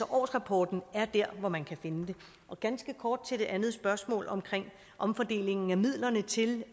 årsrapporten er altså dér hvor man kan finde det ganske kort til det andet spørgsmål om omfordelingen af midlerne til